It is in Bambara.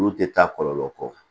Olu tɛ taa kɔlɔlɔ kɔ